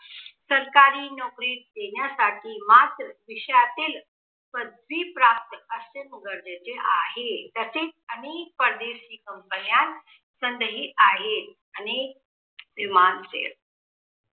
सरकारी नोकरी देण्यासाठी मात्र विषयातील पदवी प्राप्त असणे गरजेचे आहे, तसेच अनेक परदेशी companies संधी आहेत अनेक